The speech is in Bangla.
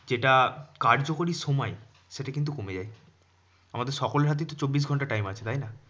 যেটা কার্যকরী সময় সেটা কিন্তু কমে যায় আমাদের সকলের হাতেই তো চব্বিশ ঘন্টা time আছে তাইনা?